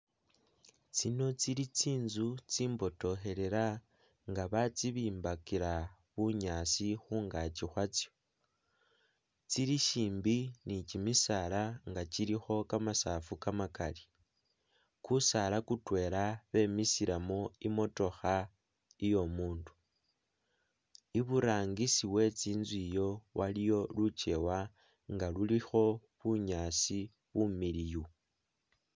tsino tsili tsinzu tsimbotohelela nga batsibimbakila bunyasi hungachi hwatsyo, tsili shimbi ni chimisaala nga chiliho kamasafu kamakali, kusaala kutwela bemisilemu imotoha iyomundu, iburangisi we tsinzu iyo waliyo luchewa nga luliho bunyasi bumiliyu